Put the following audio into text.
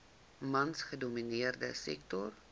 mans gedomineerde sektor